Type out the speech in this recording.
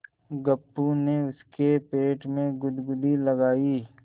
गप्पू ने उसके पेट में गुदगुदी लगायी